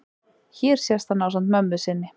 hér sést hann ásamt mömmu sinni